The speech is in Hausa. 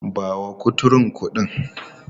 Ba wa kuturun kuɗin!.